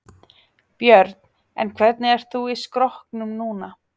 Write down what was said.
Björn: En hvernig ert þú í skrokknum núna?